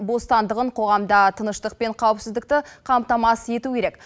бостандығын қоғамда тыныштық пен қауіпсіздікті қамтамасыз ету керек